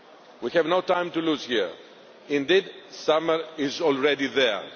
We have no time to lose here indeed, summer is already